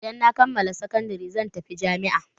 Idan na kammala sakandare zan tafi jami'a.